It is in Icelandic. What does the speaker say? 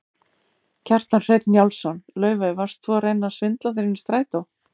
Kjartan Hreinn Njálsson: Laufey, varst þú að reyna að svindla þér inn í strætó?